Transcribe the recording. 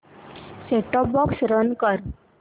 set top box run कर